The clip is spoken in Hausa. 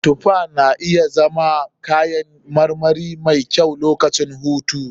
Tufa na iya zama kayan marmari mai kyau lokacin hutu.